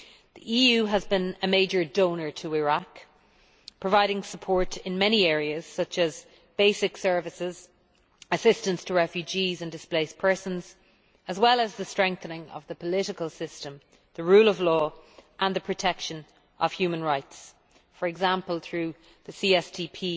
The EU has been a major donor to Iraq, providing support in many areas, such as basic services, assistance to refugees and displaced persons, as well as the strengthening of the political system, the rule of law and the protection of human rights, for example, through the CSDP